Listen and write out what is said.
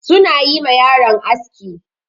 Su na yi ma yaron aski.